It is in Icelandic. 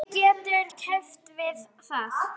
Hver getur keppt við það?